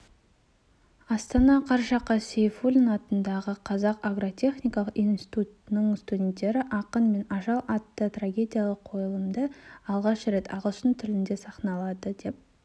астана қараша қаз сейфуллин атындағы қазақ агротехникалық университетінің студенттері ақын мен ажал атты трагедиялық қойылымды алғаш рет ағылшын тілінде сахналады деп